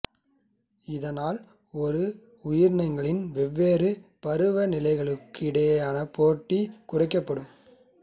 இதனால் ஒரு உயிரியின் வெவ்வேறு பருவ நிலைகளுக்கிடையே போட்டி குறைக்கப்படும்